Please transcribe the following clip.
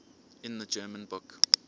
in the german book